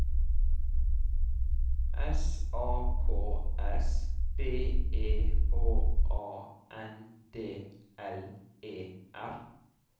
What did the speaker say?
S A K S B E H A N D L E R